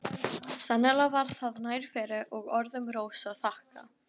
Sennilega var það nærveru og orðum Rósu að þakka.